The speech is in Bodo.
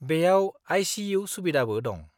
बेयाव आइ.सि.इउ. सुबिदाबो दं।